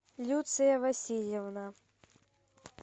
люция васильевна